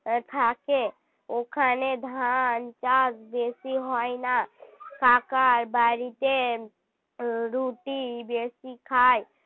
থাকে ওখানে ধান চাষ বেশি হয় না কাকার বাড়িতে রুটি বেশি খায়